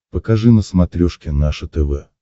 покажи на смотрешке наше тв